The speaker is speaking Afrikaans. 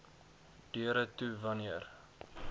deure toe wanneer